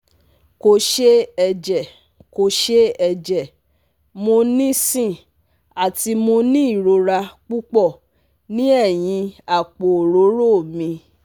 Ko se eje Ko se eje mo nisin ati mo ni irora pupo ni eyin apo orooro mi